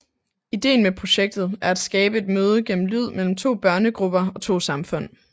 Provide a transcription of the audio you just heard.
Ideen med projektet er at skabe et møde gennem lyd mellem to børnegrupper og to samfund